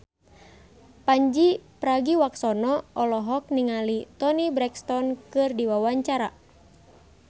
Pandji Pragiwaksono olohok ningali Toni Brexton keur diwawancara